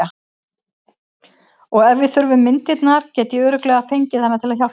Og ef við þurfum myndirnar get ég örugglega fengið hana til að hjálpa okkur.